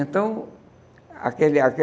Então, aquele